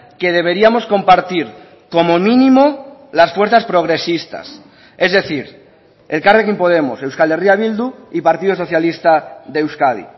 que deberíamos compartir como mínimo las fuerzas progresistas es decir elkarrekin podemos euskal herria bildu y partido socialista de euskadi